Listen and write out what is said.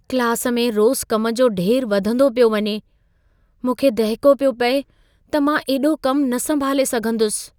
Class में रोज़ कम जो ढेर वधंदो पियो वञे। मूंखे दहिको पियो पिए त मां एॾो कम न संभाले सघंदुसि।